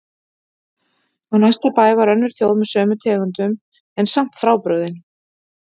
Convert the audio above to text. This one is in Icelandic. Á næsta bæ var önnur þjóð með sömu tegundum en samt frábrugðin.